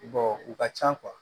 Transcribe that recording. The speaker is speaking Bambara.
u ka ca